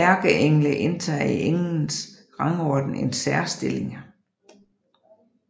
Ærkeengle indtager i englenes rangorden en særstilling